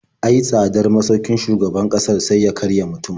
Ai tsadar masaukin shugaban ƙasar sai ya karya mutum.